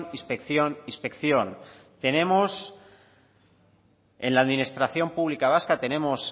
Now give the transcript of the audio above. inspección inspección tenemos en la administración pública vasca tenemos